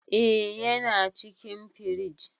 Eh yana cikin firij.